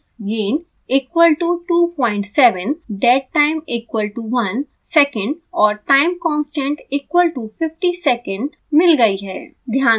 मुझे values gain equal to 27 dead time equal to 1 second और time constant equal to 50 second मिल गयी हैं